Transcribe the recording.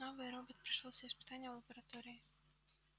новый робот прошёл все испытания в лаборатории